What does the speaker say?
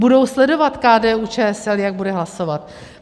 Budou sledovat KDU-ČSL, jak bude hlasovat.